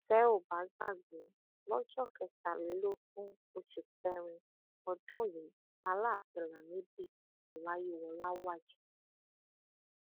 tẹ ò bá gbàgbé lọjọ kẹtàlélógún oṣù kẹrin ọdún yìí làlááfíń lamidi ọláyíwọlá wàjà